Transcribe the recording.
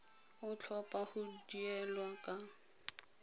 o tlhopha go duela ka